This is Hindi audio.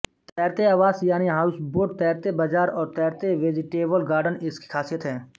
तैरते आवास यानी हाउसबोट तैरते बाजार और तैरते वेजीटेबल गार्डन इसकी खासियत हैं